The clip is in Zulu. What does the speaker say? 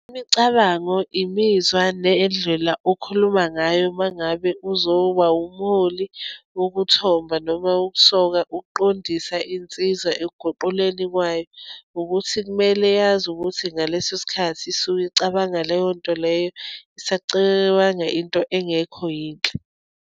Imicabango, imizwa, nendlela okhuluma ngayo uma ngabe uzoba umholi wokuthomba, noma wokusoka, ukuqondisa insiza ekuguquleni kwayo, ukuthi kumele yazi ukuthi ngaleso sikhathi isuke icabanga leyonto leyo, isacabanga into engekho yinhle.